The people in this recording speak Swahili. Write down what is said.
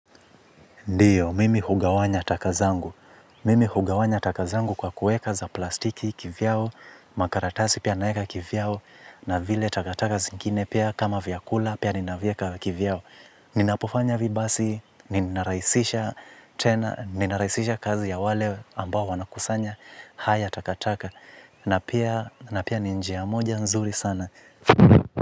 Ndiyo, mimi hugawanya takazangu. Mimi hugawanya takazangu kwa kueka za plastiki kivyao, makaratasi pia naeka kivyao, na vile takataka zingine pia kama vyakula pia ninavieka kivyao. Ninapofanya vibasi, ninarahisisha kazi ya wale ambao wanakusanya, haya takataka, na pia ni njia moja nzuri sana.